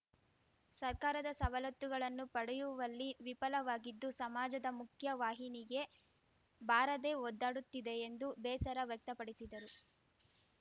ಸರ್ಕಾರದ ಸವಲತ್ತುಗಳನ್ನು ಪಡೆಯುವಲ್ಲಿ ವಿಫಲವಾಗಿದ್ದು ಸಮಾಜದ ಮುಖ್ಯವಾಹಿನಿಗೆ ಬಾರದೇ ಒದ್ದಾಡುತ್ತಿದೆ ಎಂದು ಬೇಸರ ವ್ಯಕ್ತಪಡಿಸಿದರು